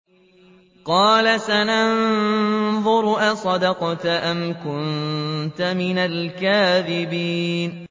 ۞ قَالَ سَنَنظُرُ أَصَدَقْتَ أَمْ كُنتَ مِنَ الْكَاذِبِينَ